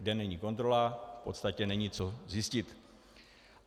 Kde není kontrola, v podstatě není co zjistit.